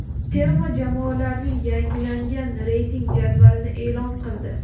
terma jamoalarning yangilangan reyting jadvalini e’lon qildi.